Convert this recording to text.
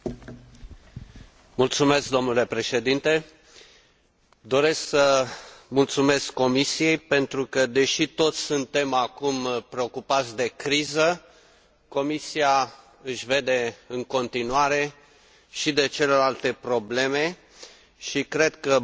Doresc să mulțumesc Comisiei pentru că, deși toți suntem acum preocupați de criză, Comisia își vede în continuare și de celelalte probleme și cred că Bulgaria este total îndreptățită să primească banii